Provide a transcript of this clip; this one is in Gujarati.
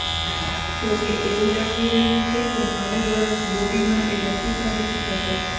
જોકે એવું લાગી રહ્યું છે કે નવું વરસ બોબી માટે લકી સાબિત થશે